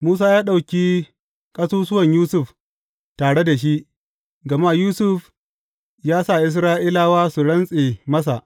Musa ya ɗauki ƙasusuwan Yusuf tare da shi, gama Yusuf ya sa Isra’ilawa su rantse masa.